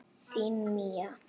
Þín Mía.